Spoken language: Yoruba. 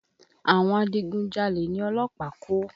Àwọn adigun jalè ni ọlọ́pàá kó.